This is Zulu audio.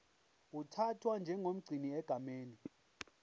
uthathwa njengomgcini egameni